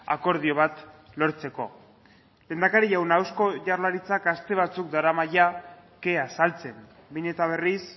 akordio bat lortzeko lehendakari jauna eusko jaurlaritzak aste batzuk darama kea saltzen behin eta berriz